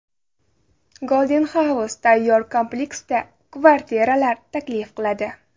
Golden House tayyor kompleksda kvartiralar taklif qiladi.